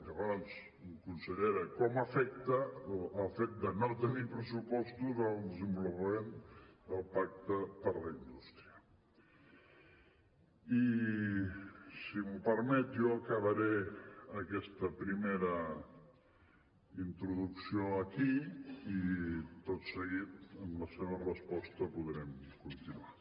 llavors consellera com afecta el fet de no tenir pressupostos al desenvolupament del pacte per la indústria i si m’ho permet jo acabaré aquesta primera introducció aquí i tot seguit amb la seva resposta podrem continuar